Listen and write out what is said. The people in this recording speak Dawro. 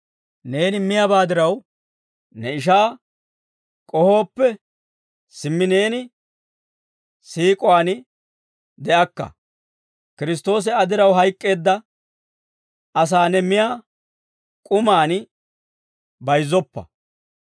Neeni miyaabaa diraw, ne ishaa k'ohooppe, simmi neeni siik'uwaan de'akka. Kiristtoosi Aa diraw hayk'k'eedda asaa ne miyaa k'umaan bayizzoppa.